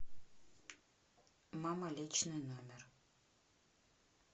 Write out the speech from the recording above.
мама личный номер